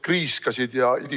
... kriiskasid ja ...